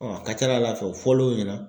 a ka ca ala fɛ o fɔ l'o ɲɛna